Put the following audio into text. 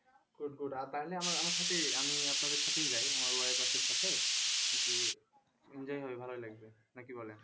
তাইলে আমা আমার সাথেই আমি আপনাদের সাথেই যাই আমার wife আছে সাথে enjoy হবে ভালোই লাগবে না কি বলেন?